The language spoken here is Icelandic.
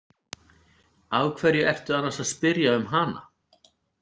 Af hverju ertu annars að spyrja um hana?